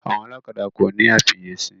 Àwọn ọlọ́kadà kòní àfiyèsí.